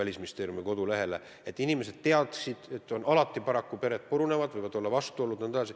Inimesed muidugi teavad, et paraku pered purunevad, võivad tekkida vastuolud jne.